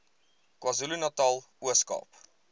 kwazulunatal ooskaap